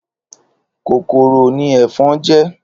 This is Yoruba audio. Kókóró ni efòn jè